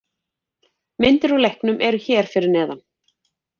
Myndir úr leiknum eru hér fyrir neðan